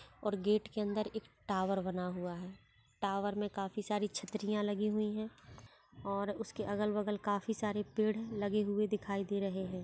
और गेट अंदर एक टॉवर बना हुआ है टावर में काफी सारी छतरियां लगी हुई है और उसके अगल-बगल काफी सारे पेड़ लगे हुए दिखाई दे रहे हैं।